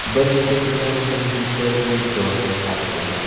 Bir necha kundan keyin Gitler o‘z joniga qasd qilgan.